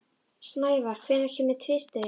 Snævar, hvenær kemur tvisturinn?